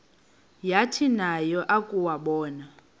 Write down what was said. yathi nayo yakuwabona